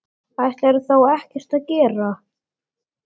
Ætlarðu þá ekkert að gera?